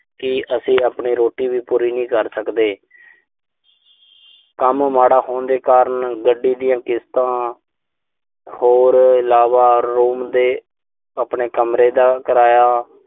ਕਿ ਅਸੀਂ ਆਪਣੀ ਰੋਟੀ ਵੀ ਪੂਰੀ ਨਹੀਂ ਕਰ ਸਕਦੇ। ਕੰਮ ਮਾੜਾ ਹੋਣ ਦੇ ਕਾਰਨ ਗੱਡੀ ਦੀਆਂ ਕਿਸ਼ਤਾਂ ਹੋਰ ਇਲਾਵਾ ਰੂਮ ਦੇ ਆਪਣੇ ਕਮਰੇ ਦਾ ਕਿਰਾਇਆ।